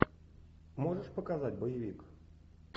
можешь показать боевик